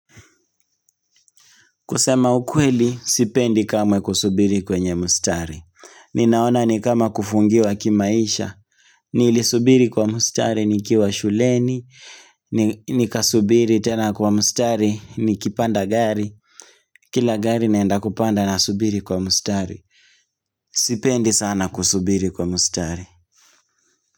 Kusema ukweli, sipendi kamwe kusubiri kwenye mstari. Ninaona ni kama kufungiwa kimaisha. Nilisubiri kwa mstari nikiwa shuleni. Nikasubiri tena kwa mstari nikipanda gari. Kila gari naenda kupanda na subiri kwa mstari. Sipendi sana kusubiri kwa mustari.